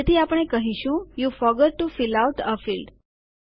તેથી આપણે કહીશું you forgot to fill out a field